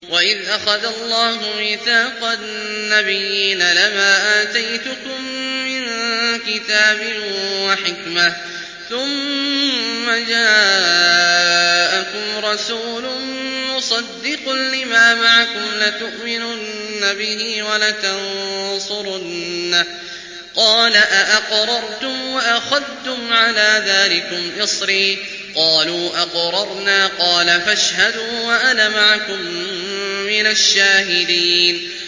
وَإِذْ أَخَذَ اللَّهُ مِيثَاقَ النَّبِيِّينَ لَمَا آتَيْتُكُم مِّن كِتَابٍ وَحِكْمَةٍ ثُمَّ جَاءَكُمْ رَسُولٌ مُّصَدِّقٌ لِّمَا مَعَكُمْ لَتُؤْمِنُنَّ بِهِ وَلَتَنصُرُنَّهُ ۚ قَالَ أَأَقْرَرْتُمْ وَأَخَذْتُمْ عَلَىٰ ذَٰلِكُمْ إِصْرِي ۖ قَالُوا أَقْرَرْنَا ۚ قَالَ فَاشْهَدُوا وَأَنَا مَعَكُم مِّنَ الشَّاهِدِينَ